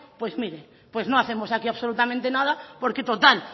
pues mire pues no hacemos aquí absolutamente nada porque total